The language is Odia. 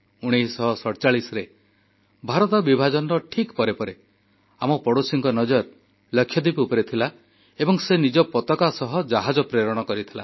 1947ରେ ଭାରତ ବିଭାଜନର ଠିକ୍ ପରେ ପରେ ଆମ ପଡ଼ୋଶୀର ନଜର ଲାକ୍ଷାଦ୍ୱୀପ ଉପରେ ଥିଲା ଏବଂ ଏହା ନିଜ ପତାକା ସହ ଜାହାଜ ପ୍ରେରଣ କରିଥିଲା